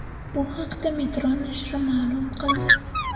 Bu haqda Metro nashri ma’lum qildi .